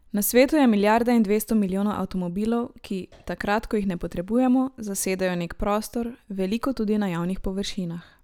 Na svetu je milijarda in dvesto milijonov avtomobilov, ki, takrat ko jih ne potrebujemo, zasedajo nek prostor, veliko tudi na javnih površinah.